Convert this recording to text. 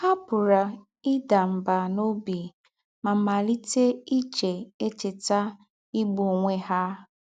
“Há pụ̀rà ìdà mbà n’ọ́bì mà màlítè íchè̄ èchètà ígbụ̀ ónwẹ̀ há.”